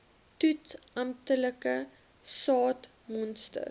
toets amptelike saadmonsters